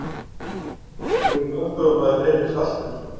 Hver verður aðstoðarmaður Heimis Hallgrímssonar?